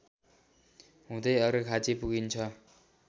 हुँदै अर्घाखाँची पुगिन्छ